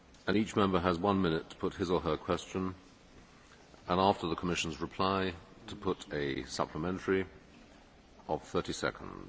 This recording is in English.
each Member has one minute to put his or her question and after the Commission's reply has the right to put a supplementary of 30 seconds.